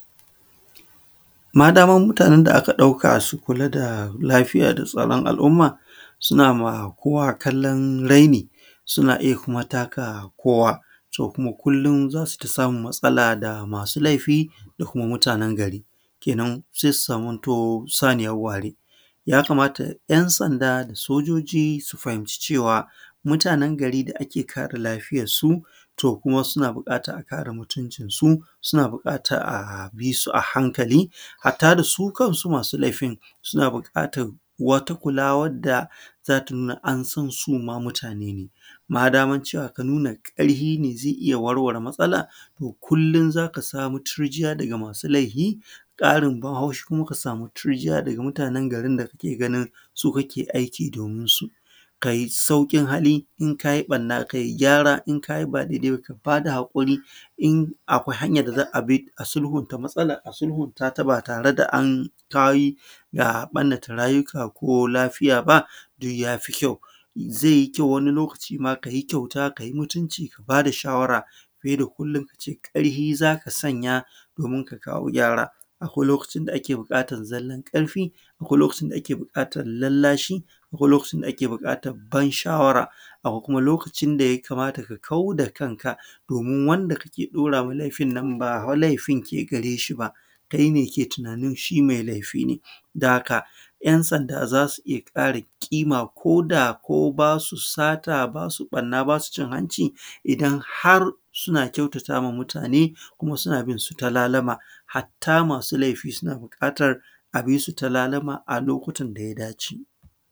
Madaman mutanen da aka ɗauka su kula da lafiyar da tsaron al’umma suna ma kowa kallon raini suna kuma taka kowa, to kullum za su yi ta samun matsala da masu laifi da kuma mutanen gari. kenan sai su zamto saaniyan ware. yakamata ‘yan sanda da soʤoʤi su fahimci cewa mutanen gari da ake kare lafiyarsu to kuwa suna bukatar a kare mutuncinsu, suna bukatar a bi su a hankali. Hatta da su kansu masu laifin suna bukatar wata kula wadda za ta nuna an san su ma mutani ne. Madaman aka nuna cewar ƙarfi ne zai iya warware matsalar to kullum za ka samu turjiya daga masu laifi, ƙarin ban haushi kuma ka samu turjiyaa daga mutanin garin da ka ke ganin su kake aiki dominsu. Kai sauƙin hali in ka yi ɓarna kai saurin gyaara in ka yi ba daidai ba ka ba da haƙuri, in akwai hanyar da za a bi a sasanta matsalar a bi, ba sai an barnata rayuka ko lafiya ba duk ya fi kyau. Zai yi kyau ma ka yi mutunci ka ba da shawara fiye da kullum ba ka ce ƙarfi za ka sanya domin ka kawoo gyara ba. Akwai lokacin da ake buƙatar zallan ƙarfi akwai kuma lokacin da ake buƙatar lallashi akwai kuma lokacin da ake buƙatar ban shawara. Akwai kuma lokacin da yakamata ka kau da kanka domin wanda ka ke ɗorawa laifin nan ba fa laifin ke gare shi ba. Kai ne mai tunanin shi mai laifii ne. Saboda haka ‘yan sanda zaa su iya ƙaara ƙiima koda ko ba su sata ba su ɓanna ba su cin hanci dan har suna kyautatama mutane kuma suna binsu ta lalama hatta masu laifin suna buƙatar a bi su ta lalama a lokutan da ya dace